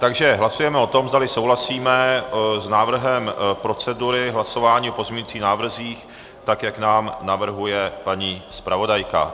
Takže hlasujeme o tom, zdali souhlasíme s návrhem procedury hlasování o pozměňovacích návrzích, tak jak nám navrhuje paní zpravodajka.